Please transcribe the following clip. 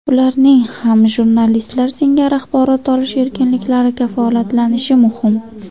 Ularning ham jurnalistlar singari axborot olish erkinliklari kafolatlanishi muhim.